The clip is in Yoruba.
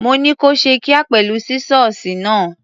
Mo ní kó ṣe kíá pẹ̀lú sísọ́ọ̀sì náà.